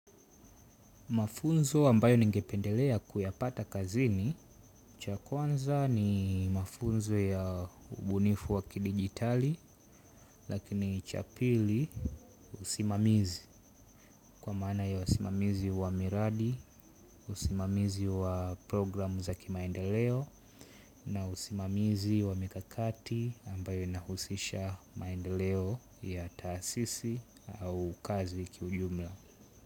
Mafunzo ambayo ningependelea kuyapata kazini, cha kwanza ni mafunzo ya ubunifu waki dijitali, lakini cha pili usimamizi, kwa maana ya usimamizi wa miradi, usimamizi wa programu zakimaendeleo, na usimamizi wa mikakati ambayo inahusisha maendeleo ya taasisi au kazi kiujumla.